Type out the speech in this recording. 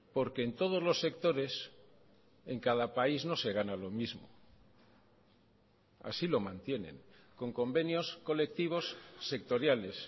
porque en todos los sectores en cada país no se gana lo mismo así lo mantienen con convenios colectivos sectoriales